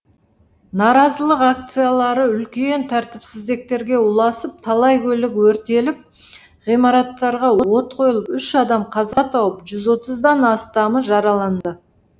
наразылық акциялары үлкен тәртіпсіздіктерге ұласып талай көлік өртеліп ғимараттарға от қойылып үш адам қаза тауып жүз отыздан астамы жараланды